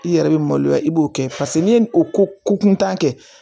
I yɛrɛ bɛ maloya i b'o kɛ paseke n'i ye o ko kuntan kɛ